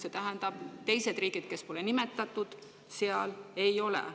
See ju tähendab, et teised riigid, kes pole nimetatud, ei ole.